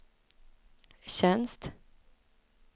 tjänst